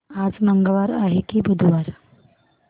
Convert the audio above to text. आज मंगळवार आहे की बुधवार